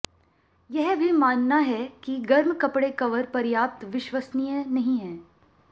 यह भी मानना है कि गर्म कपड़े कवर पर्याप्त विश्वसनीय नहीं है